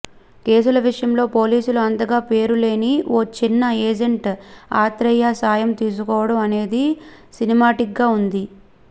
కేసుల విషయంలో పోలీసులు అంతగా పేరు లేని ఓ చిన్న ఏజెంట్ ఆత్రేయ సాయం తీసుకోవడం అనేది సినిమాటిక్గా ఉంది